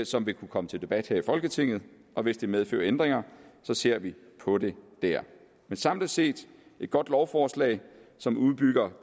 som vil kunne komme til debat her i folketinget og hvis det medfører ændringer ser vi på det dér men samlet set et godt lovforslag som udbygger